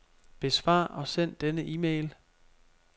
Besvar og send denne e-mail.